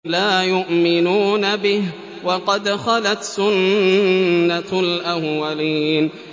لَا يُؤْمِنُونَ بِهِ ۖ وَقَدْ خَلَتْ سُنَّةُ الْأَوَّلِينَ